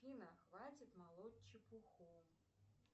афина хватит молоть чепуху